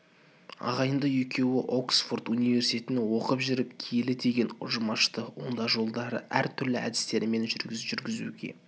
ағайынды екеуі оксфорд университетінде оқып жүріп киелі деген ұжым ашты ондай жолдарды әр түрлі әдістемелермен жүргізуге